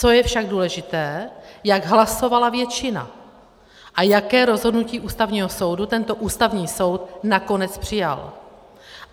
Co je však důležité, jak hlasovala většina a jaké rozhodnutí Ústavního soudu tento Ústavní soud nakonec přijal.